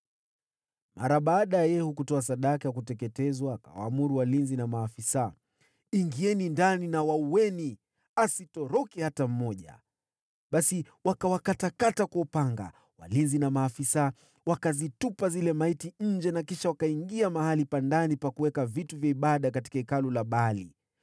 Mara baada ya Yehu kutoa sadaka ya kuteketezwa, akawaamuru walinzi na maafisa: “Ingieni ndani, waueni; asitoroke hata mmoja.” Basi wakawakatakata kwa upanga. Walinzi na maafisa wakazitupa zile maiti nje, kisha wakaingia mahali pa ndani pa kuabudia miungu katika hekalu la Baali.